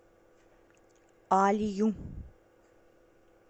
алию